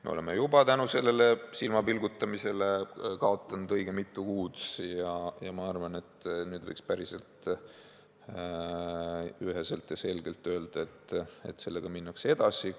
Me oleme tänu sellele silmapilgutamisele kaotanud juba õige mitu kuud ja ma arvan, et nüüd võiks päris üheselt ja selgelt öelda, et sellega minnakse edasi.